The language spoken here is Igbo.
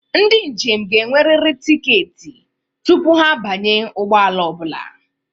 Ndị njem ga-enwerịrị tiketi tupu ha abanye ụgbọ ala ọ bụla.